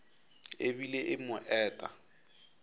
e bile e mo eta